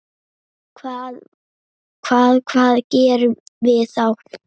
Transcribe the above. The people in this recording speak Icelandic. Hvað, hvað gerum við þá?